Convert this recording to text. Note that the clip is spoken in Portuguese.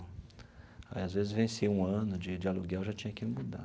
Aí, às vezes, vencia um ano de de aluguel e já tinha que mudar.